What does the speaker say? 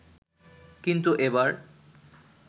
কিন্তু এবার